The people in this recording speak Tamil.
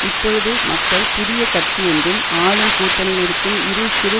இப்பொழுது மக்கள் புதிய கட்சி என்றும் ஆளும் கூட்டணியில் இருக்கும் இரு சிறு